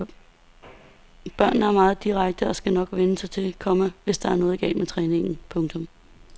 Børnene er meget direkte og skal nok sige til, komma hvis der er noget galt med træningen. punktum